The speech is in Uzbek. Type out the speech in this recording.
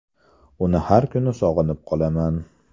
Uni har kuni sog‘inib qolaman.